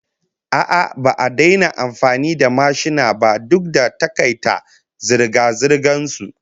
A'a, ba a daina amfani da mashina ba duk da takaita zirga-zirgan su